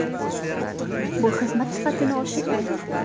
Bu xizmat sifatini oshirgan.